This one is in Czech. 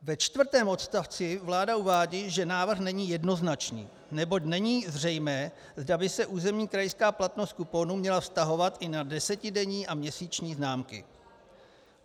Ve čtvrtém odstavci vláda uvádí, že návrh není jednoznačný, neboť není zřejmé, zda by se územní krajská platnost kuponů měla vztahovat i na desetidenní a měsíční známky.